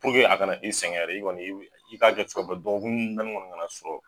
Puruke a kana e sɛgɛn ɛrɛ e kɔni' i k'a cogo bɛɛ la dɔgɔkun naani kɔni kana sɔrɔ